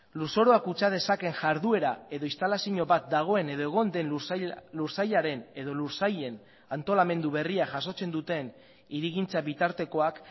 lurzorua kutsa dezakeen jarduera edo instalazio bat dagoen edo egon den lursailaren edo lursailen antolamendu berria jasotzen duten hirigintza bitartekoak